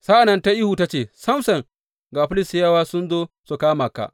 Sa’an nan ta yi ihu ta ce, Samson ga Filistiyawa sun zo su kama ka!